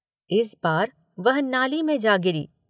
इस बार वह नाली में जा गिरी।